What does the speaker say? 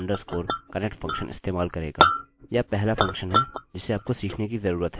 यह बहुत ही ज़रूरी फंक्शनfunction है जो आपको आपके डेटाबेस mysql से जुड़ने में समर्थ बनाता है